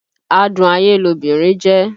Adún ayé lobìnrin jẹ́